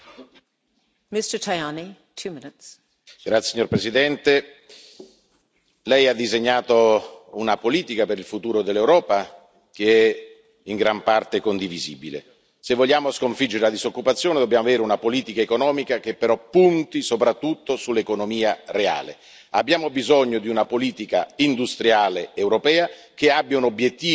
Signora Presidente, onorevoli colleghi, Lei ha disegnato una politica per il futuro dell'Europa che è in gran parte condivisibile. Se vogliamo sconfiggere la disoccupazione dobbiamo avere una politica economica che però punti soprattutto sull'economia reale. Abbiamo bisogno di una politica industriale europea che abbia un obiettivo, come c'è per la politica ambientale, il 20